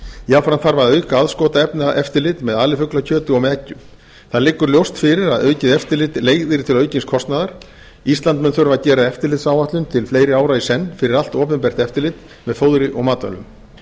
jafnframt þarf að auka aðskotaefnaeftirlit með alifuglakjöti og með eggjum það liggur ljóst fyrir að aukið eftirlit leiðir til aukins kostnaðar ísland mun þurfa að gera eftirlitsáætlun til fleiri ára í senn fyrir allt opinbert eftirlit með fóðri og matvælum